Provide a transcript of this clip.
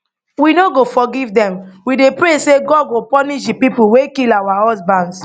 we no go forgive dem we dey pray say god go punish di people wey kill our husbands